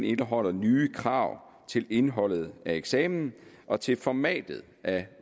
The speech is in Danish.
indeholder nye krav til indholdet af eksamen og til formatet af